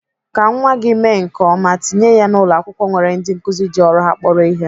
Ka nwa gị mee nke ọma, tinye ya na ụlọakwụkwọ nwere ndị nkụzi ji ọrụ ha kporo ihe.